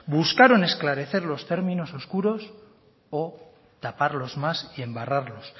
buscaron esclarecer los términos oscuros o taparlos más y embarrarlos